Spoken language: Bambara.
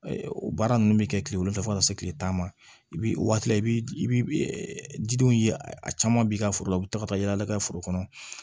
O baara ninnu bɛ kɛ kile wolonfila fɔ ka taa se kile tan ma i bi o waati la i bi i bi jidenw ye a caman b'i ka foro la u bi taa ka taa yala ka foro kɔnɔ